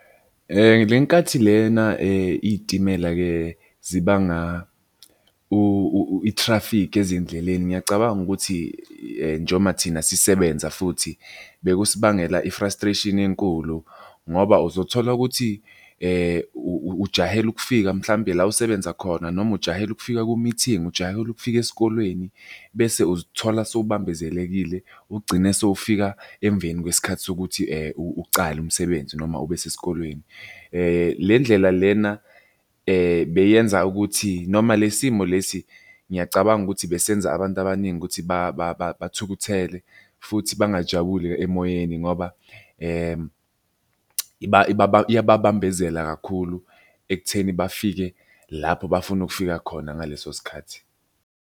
Le nkathi lena iy'timela-ke zibanga i-traffic ezindleleni ngiyacabanga ukuthi njoba thina sisebenza futhi bekusibangela i-frustration enkulu ngoba uzothola ukuthi ujahele ukufika mhlambe la osebenza khona, noma ujahele ukufika ku-meeting, ujahele ukufika esikolweni, bese uzithola sewubambezelekile ugcine sewufika emveni kwesikhathi sokuthi ucale umsebenzi noma ube sesikolweni. Le ndlela lena beyenza ukuthi noma le simo lesi, ngiyacabanga ukuthi besenza abantu abaningi ukuthi bathukuthele futhi bangajabuli emoyeni ngoba iyababambezela kakhulu ekutheni bafike lapho bafuna ukufika khona ngaleso sikhathi.